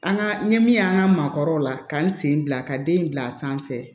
An ka n ye min ye an ka maakɔrɔw la ka n sen bila ka den bila sanfɛ